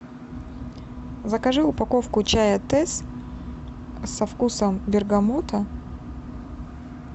закажи упаковку чая тесс со вкусом бергамота